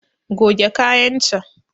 Goge kayan can